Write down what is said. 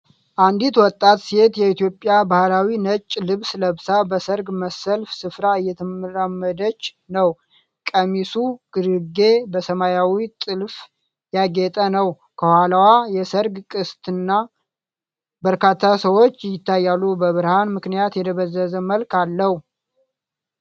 አንዲት ወጣት ሴት የኢትዮጵያ ባህላዊ ነጭ ልብስ ለብሳ በሰርግ መሰል ስፍራ እየተራመደች ነው። ቀሚሱ ግርጌ በሰማያዊ ጥልፍ ያጌጠ ነው። ከኋላዋ የሠርግ ቅስትና በርካታ ሰዎች ይታያሉ፤ በብርሃን ምክንያት የደበዘዘ መልክ አለው።